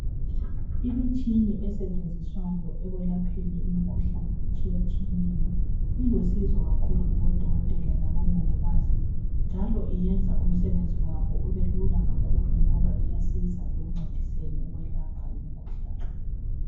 Imitshina esetshenziswayo ekwelapheni imikhuhlane etshiyetshiyeneyo ilusizo kakhulu kubodokotela labomongikazi njalo iyenza umsebenzi wabo ubelula kakhulu ngoba iyasiza ekuncediseni ukwelapha imikhuhlane.